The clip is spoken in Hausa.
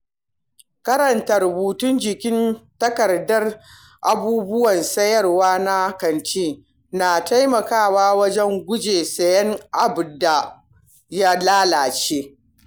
Karanta rubutun jikin takardar abubuwan siyarwa na kanti, na taimakawa wajen guje siyan abinda ya lalace.